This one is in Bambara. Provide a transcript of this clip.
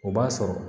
O b'a sɔrɔ